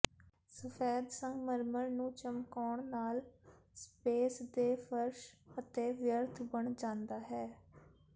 ਸਫੈਦ ਸੰਗਮਰਮਰ ਨੂੰ ਚਮਕਾਉਣ ਨਾਲ ਸਪੇਸ ਦੇ ਫਰਸ਼ ਅਤੇ ਵਿਅਰਥ ਬਣ ਜਾਂਦਾ ਹੈ